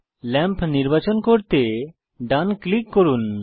lamp নির্বাচন করতে ডান ক্লিক করুন